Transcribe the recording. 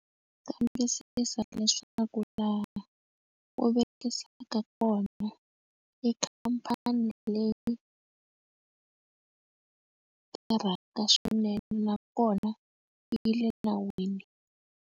Kambisisa leswaku laha u vekisaka kona i khampani leyi tirhaka swinene nakona yi le nawini.